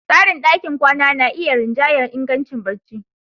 Tsarin ɗakin kwana na iya rinjayar ingancin barci.